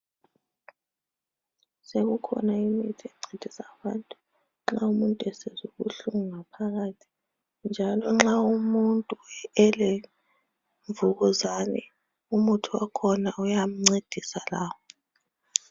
Sekukhona imithi encedisa abantu nxa umuntu esizwa ubuhlungu ngaphakathi njalo nxa umuntu elemvukuzane umuthi wakhona uyamncedisa lawo.